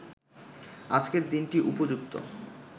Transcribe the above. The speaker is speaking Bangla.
আজকের দিনটি উপযুক্ত